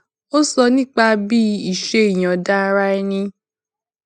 ó sọ nípa bí iṣé ìyòǹda ara ẹni